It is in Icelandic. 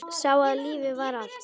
Sá að lífið var allt.